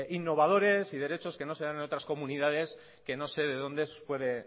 innovadores y derechos que no se dan en otras comunidades que no sé de donde puede